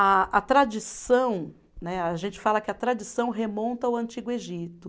A a tradição né, a gente fala que a tradição remonta ao Antigo Egito.